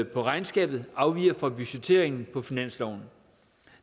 på regnskabet afviger fra budgetteringen på finansloven